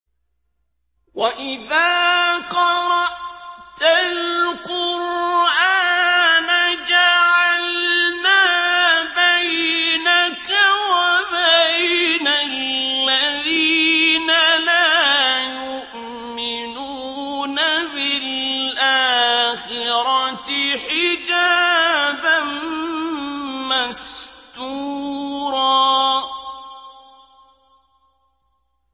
وَإِذَا قَرَأْتَ الْقُرْآنَ جَعَلْنَا بَيْنَكَ وَبَيْنَ الَّذِينَ لَا يُؤْمِنُونَ بِالْآخِرَةِ حِجَابًا مَّسْتُورًا